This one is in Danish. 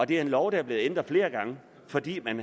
det er en lov der er blevet ændret flere gange fordi man